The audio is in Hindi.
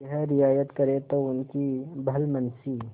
यह रियायत करें तो उनकी भलमनसी